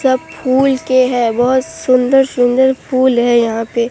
सब फूल के हैं बहोत सुंदर सुंदर फूल है यहां पे।